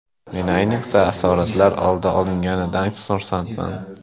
Men ayniqsa, asoratlar oldi olinganidan xursandman.